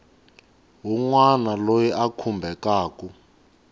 wun wana loyi a khumbekaku